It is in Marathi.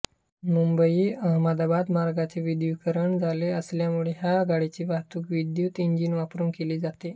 मुंबई अहमदाबाद मार्गाचे विद्युतीकरण झाले असल्यामुळे ह्या गाडीची वाहतूक विद्युत इंजिन वापरून केली जाते